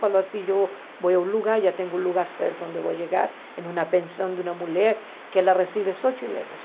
Falou assim, eu vou a um lugar, já tenho um lugar certo onde eu vou chegar, em uma pensão de uma mulher que ela recebe só chilenos.